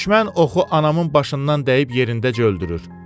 Düşmən oxu anamın başından dəyib yerindəcə öldürür.